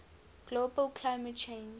global climate change